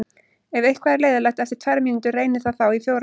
Ef eitthvað er leiðinlegt eftir tvær mínútur, reynið það þá í fjórar.